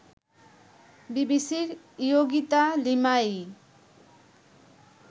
বিবিসির ইয়োগিতা লিমায়ি